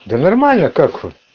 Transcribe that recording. да нормально как вот